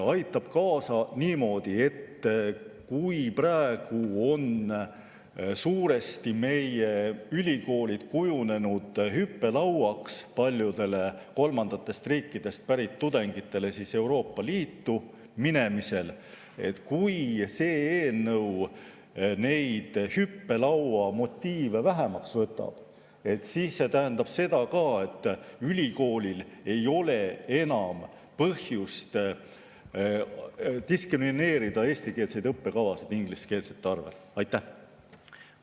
Aitab kaasa niimoodi, et kui praegu on meie ülikoolid kujunenud suuresti hüppelauaks paljudele kolmandatest riikidest pärit tudengitele Euroopa Liitu minemisel, siis kui see eelnõu neid hüppelauamotiive vähemaks võtab, tähendab see ka seda, et ülikoolil ei ole enam põhjust diskrimineerida eestikeelseid õppekavasid, ingliskeelseid.